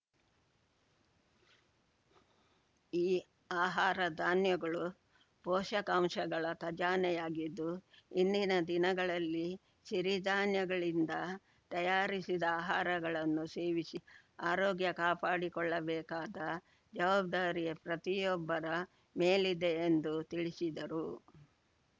ಈ ಆಹಾರ ಧಾನ್ಯಗಳು ಪೋಷಕಾಂಶಗಳ ಖಜಾನೆಯಾಗಿದ್ದು ಇಂದಿನ ದಿನಗಳಲ್ಲಿ ಸಿರಿಧಾನ್ಯಗಳಿಂದ ತಯಾರಿಸಿದ ಆಹಾರಗಳನ್ನು ಸೇವಿಸಿ ಆರೋಗ್ಯ ಕಾಪಾಡಿ ಕೊಳ್ಳಬೇಕಾದ ಜವಾಬ್ದಾರಿ ಪ್ರತಿಯೊಬ್ಬರ ಮೇಲಿದೆ ಎಂದು ತಿಳಿಸಿದರು